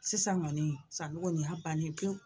Sisan kɔni Sanogo nin y'a bannen pewu